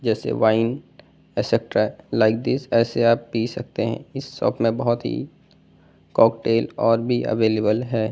जैसे wine et cetera like this ऐसे आप पी सकते हैं इस शॉप में बहुत ही कॉकटेल और भी अवेलेबल है।